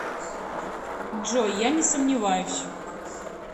джой я не сомневаюсь